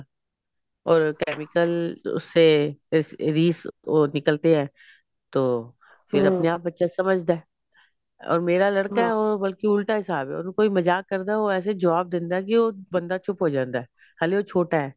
or chemical ਉਸਸੇ ਰੀਸ ਉਹ ਨਿਕਲਤੀ ਹੈ ਤੋਂ ਫਿਰ ਆਪਣੇ ਆਪ ਬੱਚਾ ਸਮਝਦਾ or ਮੇਰਾ ਲੜਕਾ ਅਹ ਬਲਕਿ ਉਲਟਾ ਹਿਸਾਬ ਐ ਉਹਨੂੰ ਕੋਈ ਮਜ਼ਾਕ ਕਰਦਾ ਉਹ ਐਸੇ ਜਵਾਨ ਦਿੰਦਾ ਕਿ ਉਹ ਚੁੱਪ ਹੋ ਜਾਂਦਾ ਹੈ ਹਲੇ ਉਹ ਛੋਟਾ